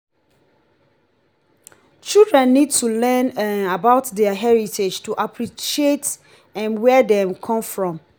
children need to learn um about their heritage to appreciate um where dem come from.